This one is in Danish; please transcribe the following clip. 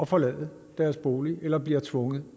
forlade deres bolig eller bliver tvunget